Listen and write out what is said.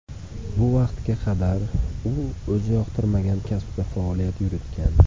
Bu vaqtga qadar u o‘zi yoqtirmagan kasbda faoliyat yuritgan”.